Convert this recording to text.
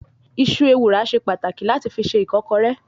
Iṣu ewùrà ṣe pàtàkì láti fi se ìkọ́kọrẹ́.